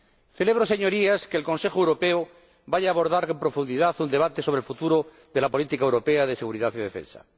Celebro, Señorías, que el Consejo Europeo vaya a abordar en profundidad un debate sobre el futuro de la política europea de seguridad y defensa.